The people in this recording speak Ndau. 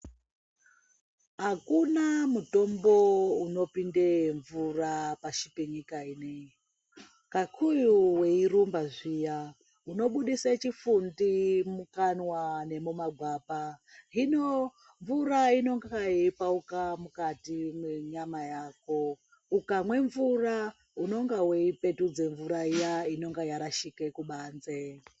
Hakuna mutombo unopinde mvura pashi penyika ino, kakuyu weirumba zviya unobudisa chifundi mukanwa nemumagwapa. Hino mvura inonga yeipauka mukati mwenyama yako. Ukamwe mvura unonga veipetudze mvura iya inonga yarashika kubanzi.